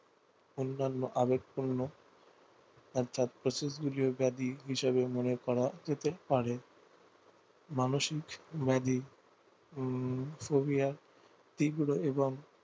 অন্যান্য আবেগপূর্ণ অর্থাৎ ব্যাধি হিসাবে মনে করা যেতে পারে মানসিক ব্যাধি উম ফোবিয়া তীব্র এবং